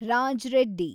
Raj Reddy